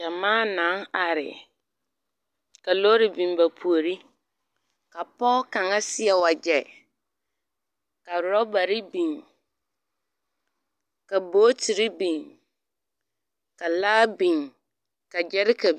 Gyamaa naŋ are. Ka lɔɔre biŋ ba puoriŋ ka pɔge kaŋa seɛ wagyɛ ka orɛbare biŋ ka bootiri biŋ kalaa biŋ ka gyɛreka…